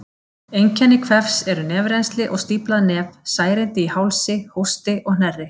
Einkenni kvefs eru nefrennsli og stíflað nef, særindi í hálsi, hósti og hnerri.